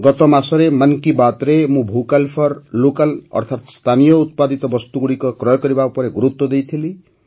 ଗତ ମାସରେ ମନ୍ କି ବାତ୍ରେ ମୁଁ ଭୋକାଲ୍ ଫର୍ ଲୋକାଲ୍ ଅର୍ଥାତ ସ୍ଥାନୀୟ ଉତ୍ପାଦିତ ବସ୍ତୁଗୁଡ଼ିକ କ୍ରୟ କରିବା ଉପରେ ଗୁରୁତ୍ୱ ଦେଇଥିଲି